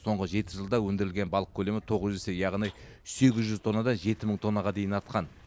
соңғы жеті жылда өндірілген балық көлемі тоғыз есе яғни сегіз жүз тоннадан жеті мың тоннаға дейін артқан